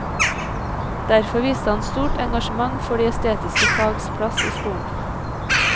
Derfor viste han stort engasjement for de estetiske fags plass i skolen.